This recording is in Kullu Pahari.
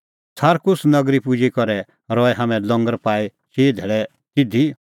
सारकुस नगरी पुजी करै रहै हाम्हैं लंगर पाई चिई धैल़ै तिधी